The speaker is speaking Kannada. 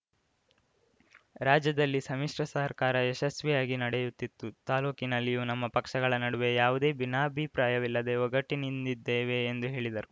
ರಾಜ್ಯದಲ್ಲಿ ಸಮ್ಮಿಶ್ರ ಸರ್ಕಾರ ಯಶಸ್ವಿಯಾಗಿ ನಡೆಯುತ್ತಿತ್ತು ತಾಲೂಕಿನಲ್ಲಿಯೂ ನಮ್ಮ ಪಕ್ಷಗಳ ನಡುವೆ ಯಾವುದೇ ಭಿನ್ನಾಭಿಪ್ರಾಯವಿಲ್ಲದೆ ಒಗ್ಗಟ್ಟಿನಿಂದಿದ್ದೇವೆ ಎಂದು ಹೇಳಿದರು